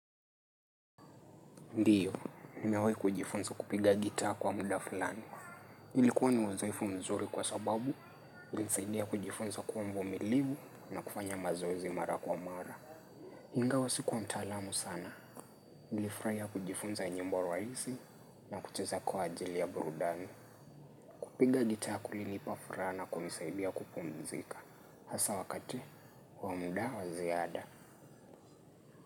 Ndiyo, nimewahi kujifunza kupiga gita kwa muda fulani. Ilikuwa ni uzaifu mzuri kwa sababu, ilisaidia kujifunza kuwa mvumilivu na kufanya mazoezi mara kwa mara. Ingawa sikuwa mtaalamu sana, nilifurahia kujifunza nyimbo wa waizi na kucheza kwa ajili ya burudani. Kupiga gita kulinipa furaha na kunisaidia kupumzika. Hasa wakati, wamuda waziada.